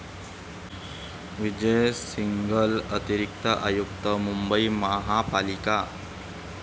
विजय सिंघल, अतिरिक्त आयुक्त, मुंबई महापालिका.